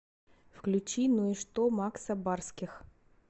включи ну и что макса барских